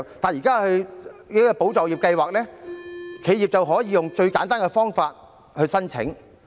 但是，在"保就業"計劃下，企業可以用最簡單的方法來作出申請。